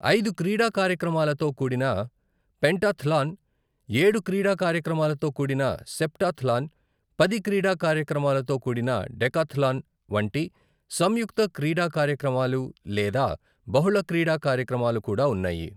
ఐదు క్రీడా కార్యక్రమాలతో కూడిన పెంటాథ్లాన్, ఏడు క్రీడా కార్యక్రమాలతో కూడిన సెప్టాథ్లాన్, పది క్రీడా కార్యక్రమాలతో కూడిన డెకాథ్లాన్ వంటి సంయుక్త క్రీడా కార్యక్రమాలు లేదా బహుళ క్రీడా కార్యక్రమాలు కూడా ఉన్నాయి.